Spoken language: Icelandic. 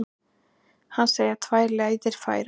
Hann segir tvær leiðir færar.